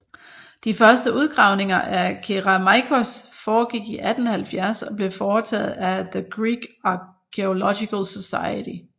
De første udgravninger af Kerameikos foregik i 1870 og blev foretaget af The Greek Archaeological Society